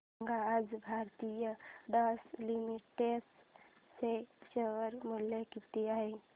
सांगा आज Aarti Drugs Limited चे शेअर मूल्य किती आहे